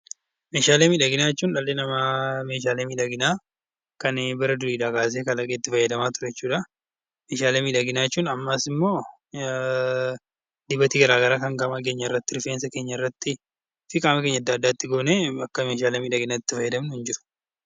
Meeshaalee miidhaginaa jechuun dhalli namaa meeshaalee miidhaginaa kan bara durii kaasee kalaqee itti fayyadamaa ture jechuudha. Meeshaalee miidhaginaa jechuun ammas immoo dibata garaagaraa kan qaama keenyarratti rifeensa keenyarratti goonee Akka meeshaalee miidhaginaatti fayyadamnudha